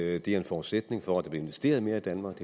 at det er en forudsætning for at der bliver investeret mere i danmark